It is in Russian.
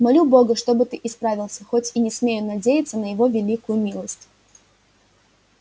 молю бога чтоб ты исправился хоть и не смею надеяться на его великую милость